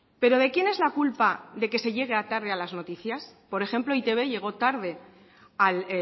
pero de quién es la culpa de que se llegue tarde a las noticias por ejemplo e i te be llegó tarde al